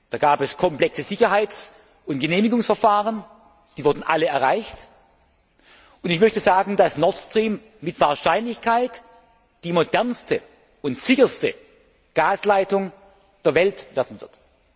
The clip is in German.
Da gab es komplexe Sicherheits und Genehmigungsverfahren, die wurden alle durchgeführt, und ich möchte sagen, dass Nord Stream mit Wahrscheinlichkeit die modernste und sicherste Gasleitung der Welt werden